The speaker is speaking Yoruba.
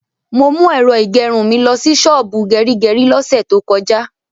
Mo mú ẹ̀rọ ìgẹrun mi lọsí ṣọ́ọ̀bù gẹrígẹrí lọ́sẹ̀ tó kọjá.